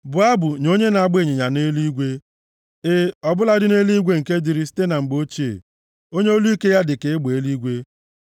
Bụọ abụ nye onye na-agba ịnyịnya nʼeluigwe, e, ọ bụladị eluigwe nke dịrị site na mgbe ochie, onye olu ike ya dịka egbe eluigwe.